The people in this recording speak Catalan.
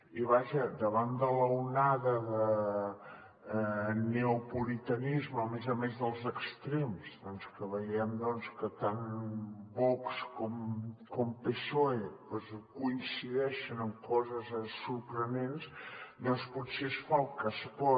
i vaja davant de l’onada de neopuritanisme a més a més dels extrems que veiem que tant vox com psoe coincideixen en coses sorprenents doncs potser es fa el que es pot